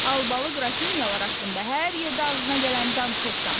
Albalı qrafinyalar haqqında hər yerdə ağzına gələni danışırsan.